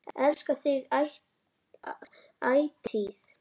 Elska þig ætíð.